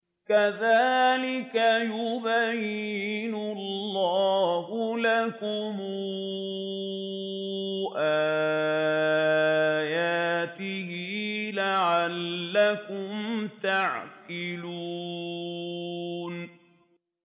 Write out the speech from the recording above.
كَذَٰلِكَ يُبَيِّنُ اللَّهُ لَكُمْ آيَاتِهِ لَعَلَّكُمْ تَعْقِلُونَ